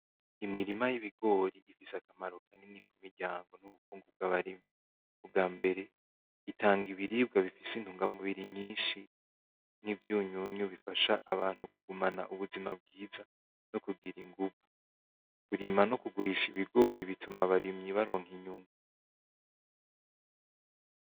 Imirima yibigori ifise akamaro kanini mumiryango no kubarimyi, ubwambere itanga ibiribwa bifise intungamubiri nyinshi nivyunyunyu bifasha abantu kugira ubuzima bwiza no kugira inguvu. Kurima no kugurisha ibigori bituma abarimyi baronka inyungu.